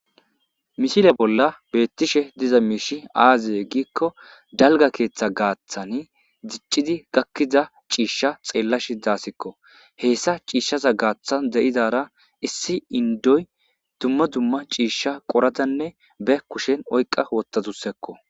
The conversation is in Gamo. misile bolla beettishe diza miishi aaziye giikko dalga keeththa gaaththani diccidi gakkiza ciishsha xeellashi daasikko heessa ciishshaza gaaththan de7izara issi indoy dumma dumma ciishsha qoradanne be kushen oyqa wottatusekko